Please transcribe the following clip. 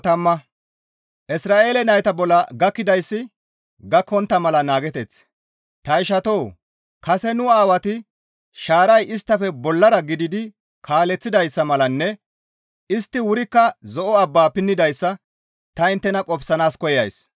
Ta ishatoo! Kase nu Aawati shaaray isttafe bollara gididi kaaleththidayssa malanne istti wurikka zo7o abba pinnidayssa ta inttena qofsanaas koyays.